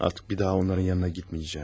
Artıq bir daha onların yanına getməyəcəm.